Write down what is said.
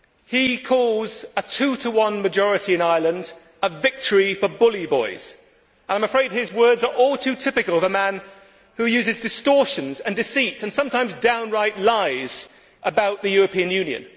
He calls a two to one majority in Ireland a victory for bully boys'. I am afraid his words are all too typical of a man who uses distortions and deceit, and sometimes downright lies, about the European Union.